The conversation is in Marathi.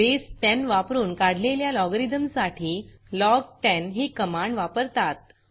बसे 10 वापरून काढलेल्या लॉगरिथम साठी लॉग 10 ही कमांड वापरतात